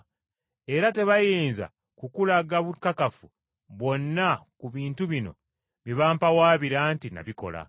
Era tebayinza kukulaga bukakafu bwonna ku bintu bino bye bampawaabira nti nabikola.